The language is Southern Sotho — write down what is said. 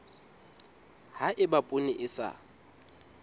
ha eba poone e sa